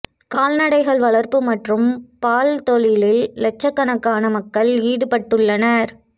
கால்நடைகள் வளர்ப்பு மற்றும் பால் தொழிலில் இலட்சக்கணக்கான மக்கள் ஈடுபட்டுள்ளனர்